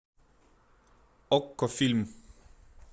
окко фильм